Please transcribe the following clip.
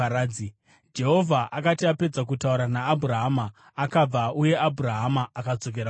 Jehovha akati apedza kutaura naAbhurahama, akabva, uye Abhurahama akadzoka kumba kwake.